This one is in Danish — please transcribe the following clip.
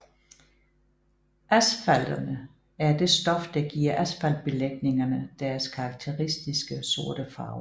Asfaltenerne er det stof der giver asfaltbelægningerne deres karakteristiske sorte farve